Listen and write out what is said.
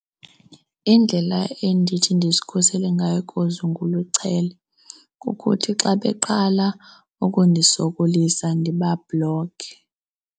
Indlela endithi ndizikhusele ngayo kukuthi xa beqala ukundisokolisa, ndibabhlokhe.